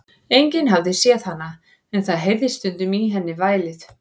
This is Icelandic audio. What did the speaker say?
Enginn hafði séð hana, en það heyrðist stundum í henni vælið.